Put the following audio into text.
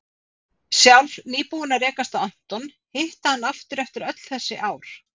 Sjálf nýbúin að rekast á Anton, hitta hann aftur eftir öll þessi ár.